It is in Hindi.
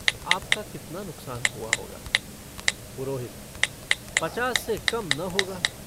आपका कितना नुकसान हुआ होगा' पुरोहित पचास से कम न होगा।